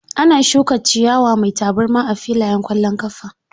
Ana shuka ciyawa mai tabarma a filayen ƙwallon ƙafa.